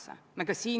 Selline on seis.